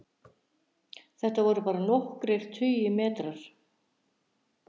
Þetta voru bara nokkrir tugir metra